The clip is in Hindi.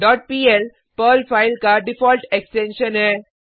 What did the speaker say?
डॉट पीएल पर्ल फाइल का डिफॉल्ट एक्सटेंशन है